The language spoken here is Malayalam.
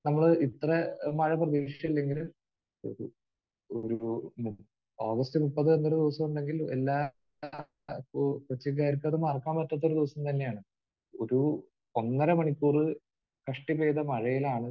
നമ്മൾ ഇത്ര മഴ പ്രതീക്ഷിച്ചില്ലെങ്കിലും ഒരു ഓഗസ്റ്റ് മുപ്പത് എന്നൊരു ദിവസം ഉണ്ടെങ്കിൽ എല്ലാ കൊച്ചിക്കാർക്ക് അത് മറക്കാൻ പറ്റാത്ത ഒരു ദിവസം തന്നെയാണ്. ഒരു ഒന്നര മണിക്കൂർ കഷ്ടി പെയ്ത മഴയിലാണ്